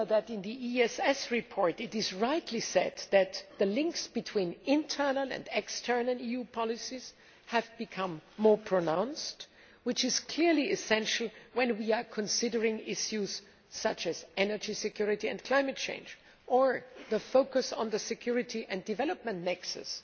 In the ESS report, it is rightly said that the links between internal and external EU policies have become more pronounced, which is clearly essential when we are considering issues such as energy security and climate change, or the focus on the security and development nexus